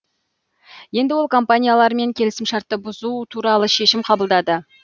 енді ол компаниялармен келісімшартты бұзу туралы шешім қабылдады